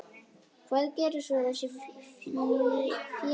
Hvað gera svo þessi félög?